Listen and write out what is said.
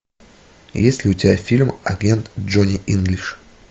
есть ли у тебя фильм агент джонни инглиш